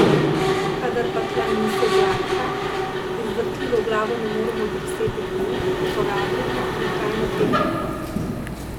Kadar pa tla niso gladka in z vrtljivo glavo ne moremo drseti po njih, uporabljamo nihajno tehniko.